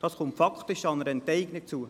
Das kommt faktisch einer Enteignung gleich.